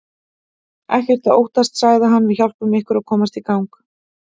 Ekkert að óttast sagði hann, við hjálpum ykkur að komast í gang.